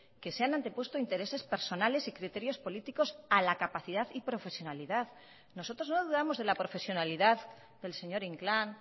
que se han antepuesto intereses personales y criterios políticos a la capacidad y profesionalidad nosotros no dudamos de la profesionalidad del señor inclán